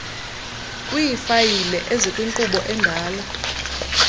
kwiifayile ezikwinkqubo endala